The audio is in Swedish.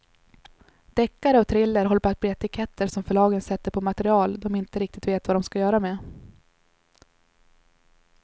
Deckare och thriller håller på att bli etiketter som förlagen sätter på material de inte riktigt vet vad de ska göra med.